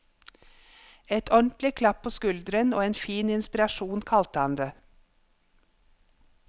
Et ordentlig klapp på skulderen og en fin inspirasjon kalte han det.